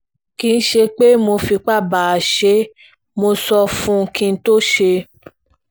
kì í ṣe pé mo fipá bá a ṣe é mo sọ fún un kí n tóó ṣe é